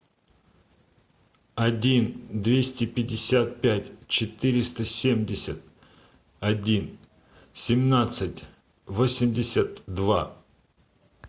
один двести пятьдесят пять четыреста семьдесят один семнадцать восемьдесят два